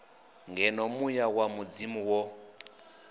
ngeno muya wa mudzimu wo